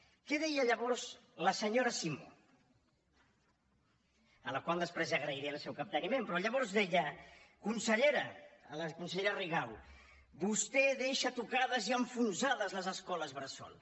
què deia llavors la senyora simó a la qual després agrairé el seu capteniment però llavors deia consellera a la consellera rigau vostè deixa tocades i enfonsades les escoles bressol